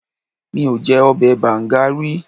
Mi ò jẹ ọbẹ̀ bàǹga rí.